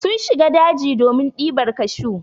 Sun shiga daji ne domin ɗibar kashu.